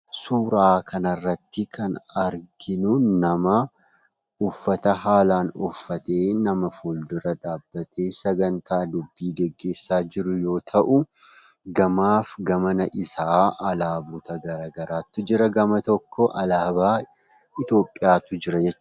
Suuraa kanarrattii kan arginuu namaa uffata haalaan uffatee nama fuuldura dhaabbatee sagantaa dubbii geggeessaa jiru yoo ta'u gamaaf gamana isaa alaabota gara garaatu jira. Gama tokko alaabaa Itoophiyaatu jira jechuudha.